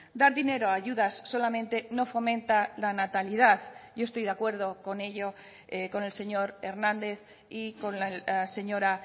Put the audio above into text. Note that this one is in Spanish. dar dinero a ayudas solamente no fomenta la natalidad yo estoy de acuerdo con ello con el señor hernández y con la señora